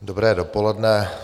Dobré dopoledne.